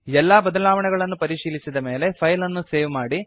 ಎಲ್ಲಾ ಬದಲಾವಣೆಗಳನ್ನು ಪರಿಶೀಲಿಸಿದ ಮೇಲೆ ಫೈಲ್ ಅನ್ನು ಸೇವ್ ಮಾಡಿ